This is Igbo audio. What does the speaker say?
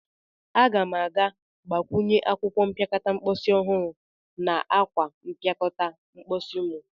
Aga m a ga-agbakwunye akwụkwọ mpịakọta mposi ọhụrụ na akwa mpịakọta mposi mu.